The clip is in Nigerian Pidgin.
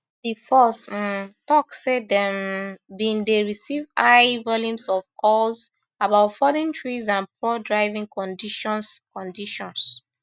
di force um tok say dem um bin dey receive high volumes of calls about fallen trees and poor driving conditions conditions